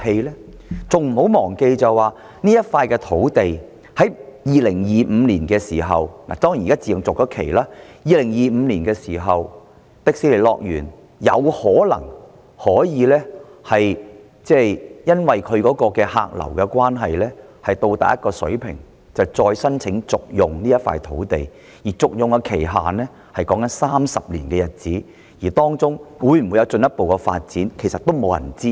不要忘記這幅土地到了2025年——當然現在已自動續期——迪士尼樂園有可能因為其客流達至某一水平的關係，從而再申請續用這幅土地，而續用的期限為30年，更沒有人知道當中會否有進一步發展。